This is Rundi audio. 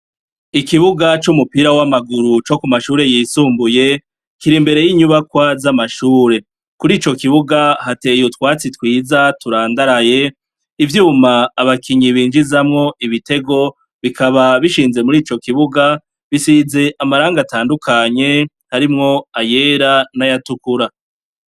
Ikibuga c'umupira w'amaguru co ku mashuri yisumbuye, kiri imbere y'inyubakwa z'amashure. Kur'ico kibuga, hateye utwatsi twiza turandaraye . Ivyuma abakinyi binjizamwo ibitego bikaba bishinze muri ico kibuga, bisize amarangi atandukanye harimwo ayera n'ayatukura.